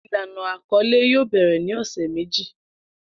Ilana akọle yoo bẹrẹ ni ọsẹ meji